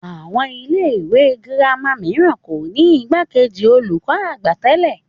Àwọn ilé ìwé girama mìíràn kò ní igbakeji olùkọ́-àgbà tẹ́lẹ̀